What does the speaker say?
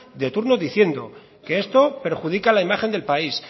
de turno diciendo que esto perjudica la imagen del país